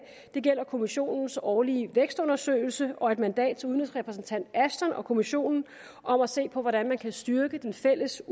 det gælder kommissionens årlige vækstundersøgelse og et mandat til udenrigsrepræsentant ashton og kommissionen om at se på hvordan man kan styrke den fælles